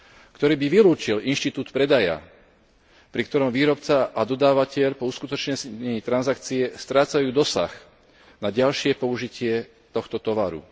ktorý by vylúčil inštitút predaja, pri ktorom výrobca a dodávateľ po uskutočnení transakcie strácajú dosah na ďalšie použitie tohto tovaru.